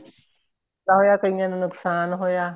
ਫਾਇਦਾ ਹੋਇਆ ਕਈਆਂ ਨੂੰ ਨੁਕਸਾਨ ਹੋਇਆ